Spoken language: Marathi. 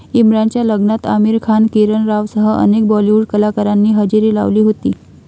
इम्रानच्या लग्नात आमिर खान, किरण रावसह अनेक बॉलिवूड कलाकारांनी हजेरी लावली होती.